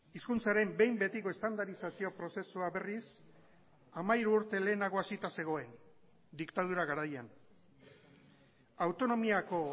hizkuntzaren behin betiko estandarizazio prozesua berriz hamairu urte lehenago hasita zegoen diktadura garaian autonomiako